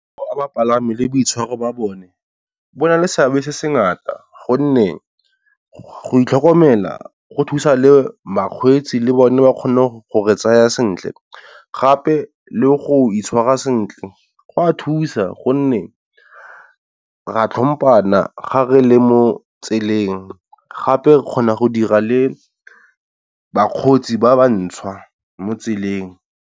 Bapalami le boitshwaro ba bone bo na le seabe se se ngata, gonne go itlhokomela go thusa le bakgweetsi le bone ba kgone go re tsaya sentle gape le go itshwara sentle go a thusa gonne ra tlhompana gare le mo tseleng, gape kgona go dira le bakgotsi ba ba ntšwa mo tseleng.